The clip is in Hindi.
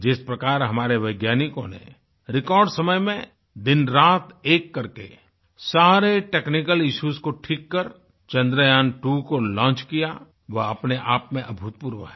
जिस प्रकार हमारे वैज्ञानिकों ने रिकॉर्ड समय में दिनरात एक करके सारे टेक्निकल इश्यूज को ठीक कर चंद्र्यान्त्वो को लॉन्च किया वह अपने आप में अभूतपूर्व है